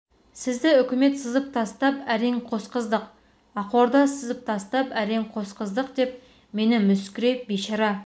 сізді үкімет сызып тастап әрең қосқыздық ақорда сызып тастап әрең қосқыздық деп мені мүсіркеп бейшара